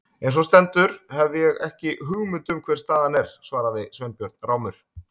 Eins og á stendur hef ég ekki hugmynd um hver staðan er- svaraði Sveinbjörn rámur.